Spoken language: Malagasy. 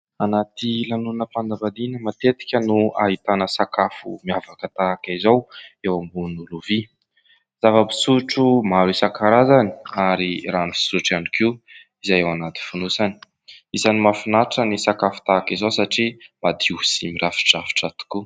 Anaty lanonam-panambadiana matetika no ahitana sakafo miavaka tahaka izao eo ambonin'ny lovia, zava-pisotro maro isankarazany ary rano fisotro ihany koa izay ao anaty fonosany. Isan'ny mahafinatra ny sakafo tahaka izao satria madio sy mirafidrafitra tokoa.